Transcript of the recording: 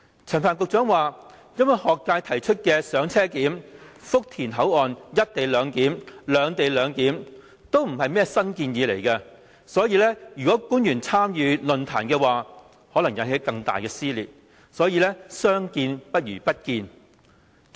陳帆局長表示，因為學界提議的"車上檢"、福田口岸"一地兩檢"、"兩地兩檢"也不是甚麼新建議，如果官員參與論壇，可能引起更大撕裂，所以相見不如不見。